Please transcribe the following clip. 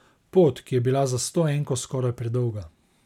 Pot, ki je bila za stoenko skoraj predolga.